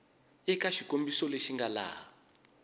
eka xikombiso lexi nga laha